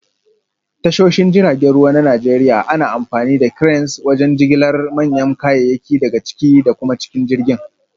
A tashoshin jiragen ruwa na Najeriya, ana amfani da Cranes wajen jigilar manyan kayayyaki daga ciki da kuma cikin jirgin